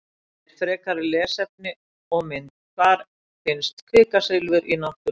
Heimildir, frekara lesefni og mynd: Hvar finnst kvikasilfur í náttúrunni?